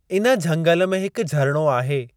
इन झंगल में हिक झरणो आहे।